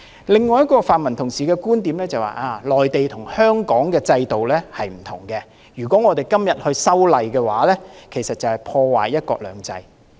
另一位泛民同事的觀點就是，內地跟香港的制度不同，如果我們今天修例，就是破壞"一國兩制"。